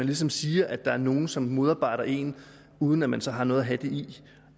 ligesom sige at der er nogle som modarbejder en uden at man så har noget at have det i